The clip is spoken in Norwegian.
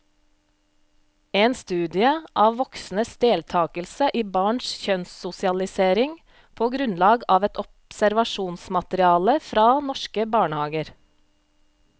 En studie av voksnes deltakelse i barns kjønnssosialisering på grunnlag av et observasjonsmateriale fra norske barnehager.